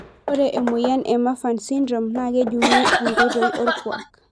Ore emoyian e Marfan sydrome nakejunguni tonkoitoi orkuak.